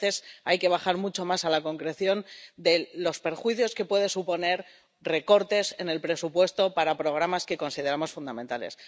a veces hay que bajar mucho más a la concreción de los perjuicios que pueden suponer recortes en el presupuesto para programas que consideramos fundamentales.